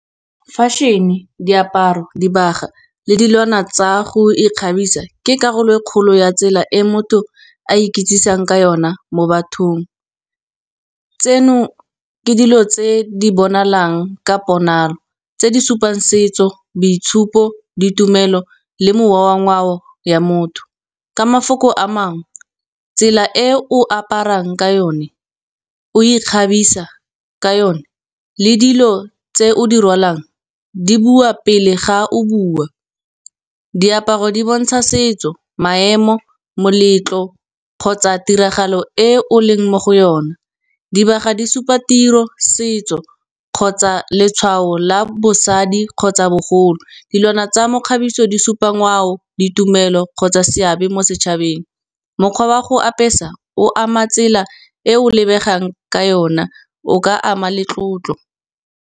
Fashion-e diaparo dibaga le dilwana tsa go ikgabisa ke karolo e kgolo ya tsela e motho a ikitsang ka yona mo bathong. Tseno ke dilo tse di bonalang ka ponalo, tse di supang setso boitshupo ditumelo le mowa wa ngwao ya motho. Ka mafoko a mangwe tsela e o aparang ka yone, o ikgabisa ka yone le dilo tse o di rwalang, di bua pele ga o bua. Diaparo di bontsha setso, maemo moletlo kgotsa tiragalo e o leng mo go yona. Dibaga di supa tiro, setso kgotsa letshwao la bosadi kgotsa bogolo. Dilwana tsa mekgabiso di supa ngwao ditumelo kgotsa seabe mo setšhabeng. Mokgwa wa go apesa o ama tsela e o lebegang ka yona o ka ama le tlotlo.